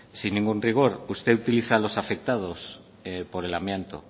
sin ningún rigor usted utiliza a los afectados por el amianto